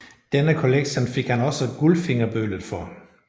Denne kollektion fik han også Gullfingerbølet for